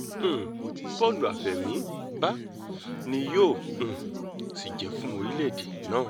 um bó̩ò̩lù àfẹ̀mírbà ni yóò um sì jẹ́ fún orílẹ̀‐èdè náà